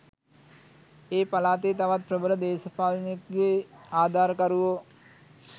ඒ පළාතේ තවත් ප්‍රබල දේශපාලනඥයෙකුගේ ආධාරකරුවෝ